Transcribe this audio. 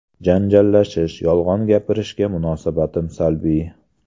Janjallashish, yolg‘on gapirishga munosabatim salbiy.